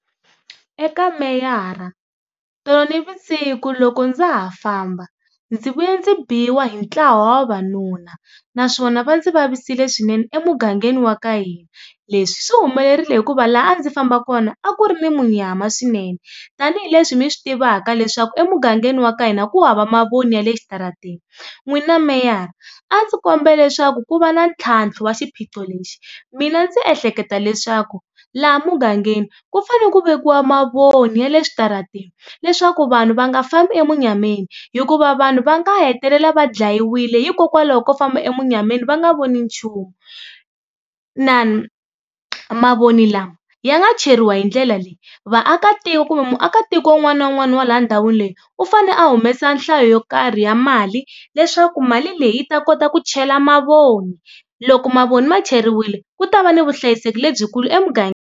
Eka meyara, tolo navusiku loko ndza ha famba ndzi vuye ndzi biwa hi ntlawa wa vavanuna naswona va ndzi vavisekile swinene emugangeni wa ka hina. Leswi swi humelerile hikuva laha a ndzi famba kona a ku ri ni munyama swinene tanihileswi mi swi tivaka leswaku emugangeni wa ka hina ku hava mavoni ya le xitaratini. N'wina meyara a ndzi kombela leswaku ku va na ntlhantlho wa xiphiqo lexi, mina ndzi ehleketa leswaku laha mugangeni ku fane ku vekiwa mavoni ya le xitaratini leswaku vanhu va nga fambi emunyameni hikuva vanhu va nga hetelela va dlayiwile hikokwalaho ko famba emunyameni va nga voni nchumu. Mavoni lama ya nga cheriwa hi ndlela leyi, vaakatiko kumbe muakatiko un'wana na un'wana wa laha ndhawini leyi u fane a humesa nhlayo yo karhi ya mali leswaku mali leyi ta kota ku chela mavoni, loko mavoni ma cheriwile ku ta va ni vuhlayiseki lebyikulu .